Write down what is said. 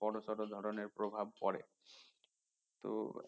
বড়সড় ধরনের প্রভাব পড়ে তো